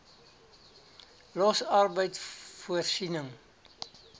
los arbeid voorsiening